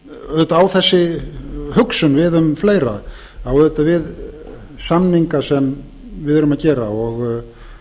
auðvitað á þessi hugsun við um fleira á auðvitað við samninga sem við erum að gera og